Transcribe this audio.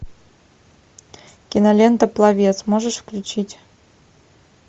кинолента пловец можешь включить